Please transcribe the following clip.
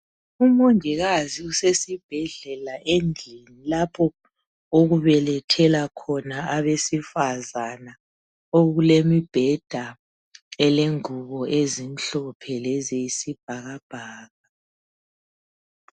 Umongikazi usesibhedlela , endlini lapho okubelethela khona abesifazana. Okulemibheda elengubo ezimhlophe leziyisibhakabhaka.